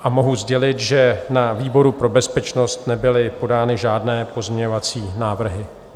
A mohu sdělit, že na výboru pro bezpečnost nebyly podány žádné pozměňovací návrhy.